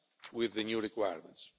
with the new requirements.